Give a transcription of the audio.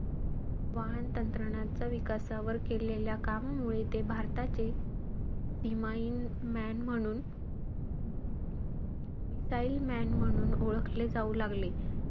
वाहन तंत्रणाचा विकासावर केलेल्या कामामुळे, ते भारताचे ईमाईन man म्हणून~ missile man म्हणून ओळखले जाऊ लागले.